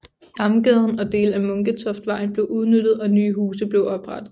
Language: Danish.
Damgaden og dele af Munketoftvejen blev udbygget og nye huse blev oprettet